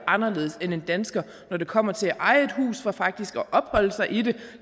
anderledes end en dansker når det kommer til at eje et hus for faktisk at opholde sig i det